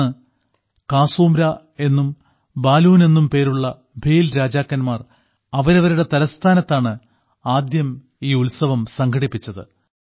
അന്ന് കാസൂംര എന്നും ബാലൂൻ എന്നും പേരുള്ള ഭീൽ രാജാക്കന്മാർ അവരവരുടെ തലസ്ഥാനത്താണ് ആദ്യം ഈ ഉത്സവം സംഘടിപ്പിച്ചത്